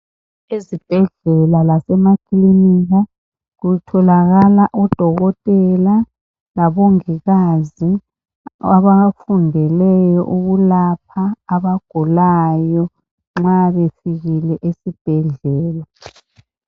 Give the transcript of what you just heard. Ezibhedlela lasemakilinika kutholakala odokotela labongikazi abafundeleyo ukulapha abagulayo nxa befikile esibhedlela.